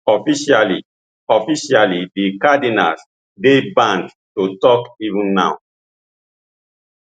officially officially di cardinals dey banned to tok even now